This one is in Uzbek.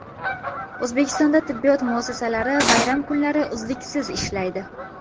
O‘zbekistonda tibbiyot muassasalari bayram kunlari uzluksiz ishlaydi.